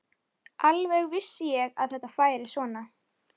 Alveg vissi ég að þetta færi svona!